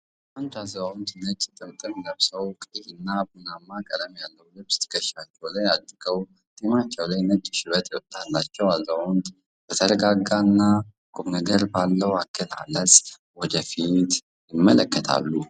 አንድ አዛውንት ነጭ ጥምጥም ለብሰው ቀይና ቡናማ ቀለም ያለው ልብስ ትከሻቸው ላይ አድርገዋል። ጢማቸው ላይ ነጭ ሽበት የወጣላቸው አዛውንቱ በተረጋጋና ቁምነገር ባለው አገላለጽ ወደ ፊት ይመለከታሉ።